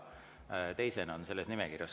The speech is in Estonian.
Jaa, teisena ta on selles nimekirjas.